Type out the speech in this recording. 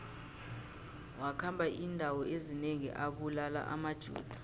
wakhamba indawo ezinengi abulala amajuda